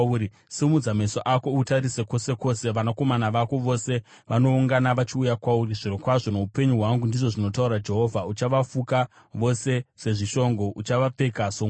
Simudza meso ako utarise kwose kwose; vanakomana vako vose vanoungana vachiuya kwauri. Zvirokwazvo noupenyu hwangu,” ndizvo zvinotaura Jehovha, “uchavafuka vose sezvishongo: uchavapfeka, somwenga.